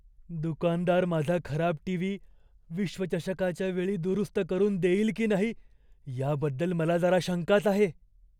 दुकानदार माझा खराब टीव्ही विश्वचषकाच्या वेळी दुरुस्त करून देईल की नाही याबद्दल मला जरा शंकाच आहे.